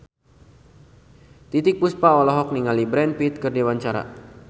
Titiek Puspa olohok ningali Brad Pitt keur diwawancara